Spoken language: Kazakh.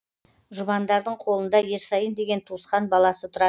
жұбандардың қолында ерсайын деген туысқан баласы тұратын